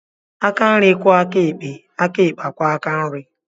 Aka nri kwoo aka ekpe, aka ekpe akwoo aka nri.